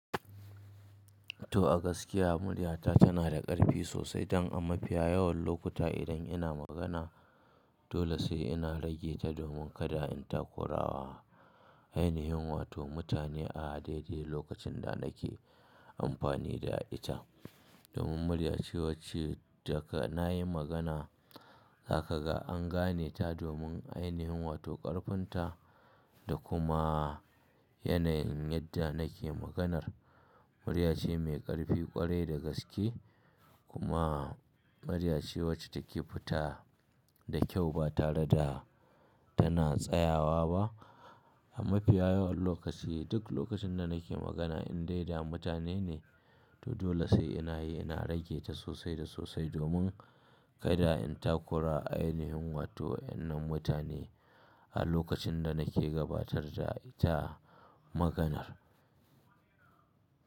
To a gaskiya murya ta tana da ƙarfi sosai don amma fiya yawan lokuta idan ina magana dole sai ina rage ta domin kada in takurawa ainihin wato mutane a daidai lokacin da nake ampani da ita. Domin murya ce wacce daga nayi magana haka ga an gane ta domin ainihin wato karfin ta da kuma yanayin yadda nake maganar. Murya ce mai ƙarfi ƙwarai da gaske kuma murya ce wacce take fita da kyau ba tare da tana tsayawa ba. Amma piya yawan lokaci duk lokacin da nake magana in dai da mutane ne to dole sai ina yi ina rage ta sosai da sosai domin kada in takura ainihin wato wannan mutane a lokacin da nake gabatar da ita maganar.